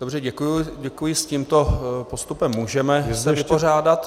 Dobře, děkuji, s tímto postupem se můžeme vypořádat.